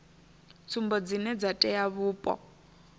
tsumbo dzine dza tea vhupo